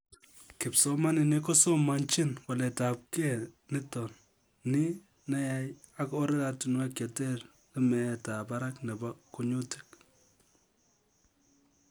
Kipsomaninik kosomanchin walte ab kei nitok ni neyai ak oratunwek chetere meet ab barak nebo kunyutik